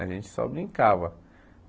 A gente só brincava.